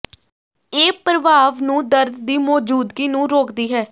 ਇਹ ਪ੍ਰਭਾਵ ਨੂੰ ਦਰਦ ਦੀ ਮੌਜੂਦਗੀ ਨੂੰ ਰੋਕਦੀ ਹੈ